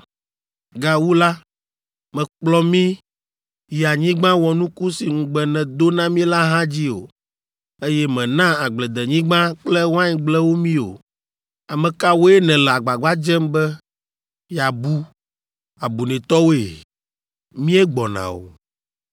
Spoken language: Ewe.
Gawu la, mèkplɔ mí yi anyigba wɔnuku si ŋugbe nèdo na mí la hã dzi o, eye mèna agbledenyigba kple waingblewo mí o. Ame kawoe nèle agbagba dzem be yeabu abunɛtɔwoe? Míegbɔna o!”